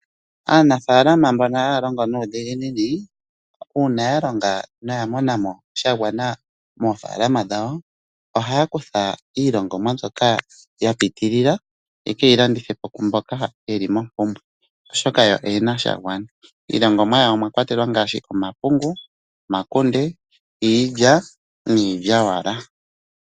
Aanafaalama mbono haya longo nuudhiginini uuna ya longa noya mona mo shagwana moofaalama dhawo ohaya kutha iilongomwa mbyoka ya piitilila yeke yilandithe po kwaamboka yeli mompumbwe oshoka yo oyena shagwana. Iilongomwa yawo omwa kwatelwa ngaashi omapungu, omakunde, iilya niilyaalyaaka.